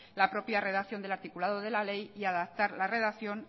la propia redacción del articulado de la ley y adaptar la redacción